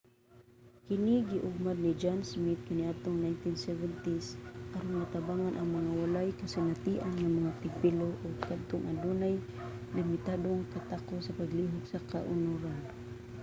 kini giugmad ni john smith kaniadtong 1970s aron matabangan ang mga walay kasinatian nga mga tigpilo o kadtong adunay limitadong katakos sa paglihok sa kaunoran